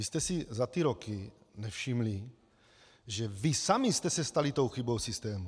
Vy jste si za ty roky nevšimli, že vy sami jste se stali tou chybou systému.